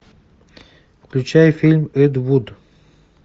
включай фильм эд вуд